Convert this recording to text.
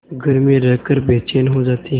घर में रहकर बेचैन हो जाते हैं